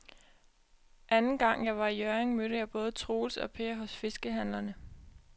Anden gang jeg var i Hjørring, mødte jeg både Troels og Per hos fiskehandlerne.